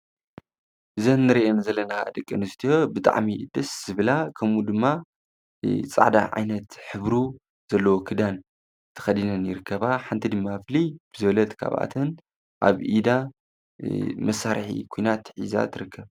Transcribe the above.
ዘን ንሬእን ዘለና ደቀ ንስትዮ ብጥዕሚ ድስ ዝብላ ከምኡ ድማ ፃዕዳሕ ዓይነት ኅብሩ ዘለወክዳን ተኸዲነን ይርከባ። ሓንቲ ድማ ኣፍሊ ብዘለት ካብኣትን ኣብ ኢዳ መሣርሒ ኲናት ኂዛ ትርከ።